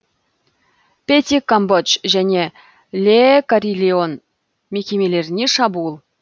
пети камбодж және ле карильон мекемелеріне шабуыл